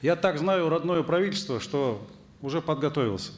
я так знаю родное правительство что уже подготовился